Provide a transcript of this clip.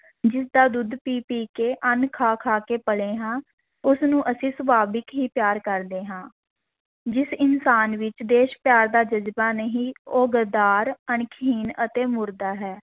ਜਿਸ ਦਾ ਦੁੱਧ ਪੀ-ਪੀ ਕੇ, ਅੰਨ ਖਾ-ਖਾ ਕੇ ਪਲੇ ਹਾਂ, ਉਸ ਨੂੰ ਅਸੀਂ ਸੁਭਾਵਕ ਹੀ ਪਿਆਰ ਕਰਦੇ ਹਾਂ, ਜਿਸ ਇਨਸਾਨ ਵਿਚ ਦੇਸ਼ ਪਿਆਰ ਦਾ ਜਜ਼ਬਾ ਨਹੀਂ, ਉਹ ਗੱਦਾਰ, ਅਣਖਹੀਣ ਅਤੇ ਮੁਰਦਾ ਹੈ।